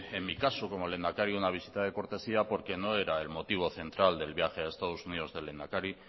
en mi caso como lehendakari una visita de cortesía porque no era el motivo central del viaje a estados unidos del lehendakari